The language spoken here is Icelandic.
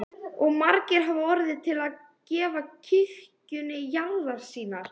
Og margir hafa orðið til að gefa kirkjunni jarðir sínar.